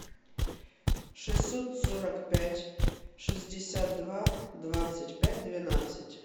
шестьсот сорок пять шестьдесят два двадцать пять двенадцать